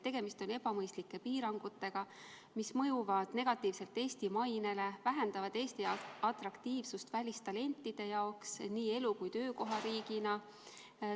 Tegemist on ebamõistlike piirangutega, mis mõjuvad negatiivselt Eesti mainele, vähendavad Eesti jaoks atraktiivsust välistalentide jaoks nii elu- kui ka töökohariigina.